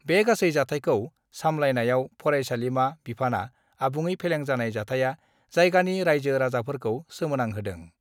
बे गासै जाथायखौ सामलायनायाव फरायसालिमा बिफानआ आबुङ फेलें जानाय जाथाया जायगानि राइजो राजाफोरखौ सोमोनांहोदों।